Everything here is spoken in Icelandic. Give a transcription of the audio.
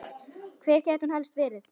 Hvar gæti hún helst verið?